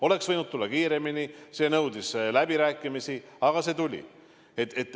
Oleks võinud tulla kiiremini – see nõudis läbirääkimisi –, aga see tuli.